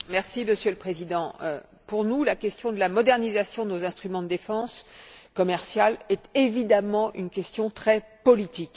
Monsieur le Président, pour nous la question de la modernisation de nos instruments de défense commerciale est évidemment une question très politique.